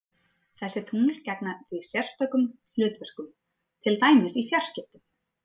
Þessi tungl gegna því sérstökum hlutverkum, til dæmis í fjarskiptum.